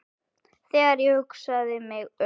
Þegar ég hugsa mig um